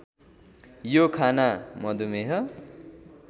यो खाना मधुमेह